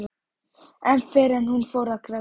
Ekki fyrr en hún fór að gráta.